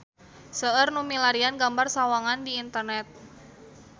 Seueur nu milarian gambar Sawangan di internet